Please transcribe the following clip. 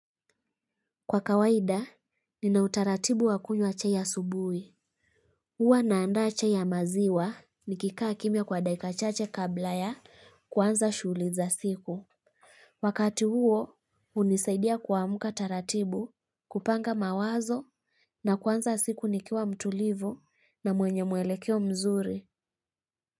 Kwa kawaida, nina utaratibu wakunywa chai asubuhi. Huwa naanda chai ya maziwa nikikaa kimya kwa dakikachache kabla ya kuanza shughuli za siku. Wakati huo, hunisaidia kuamka taratibu kupanga mawazo na kwanza siku nikiwa mtulivu na mwenye mwelekeo mzuri.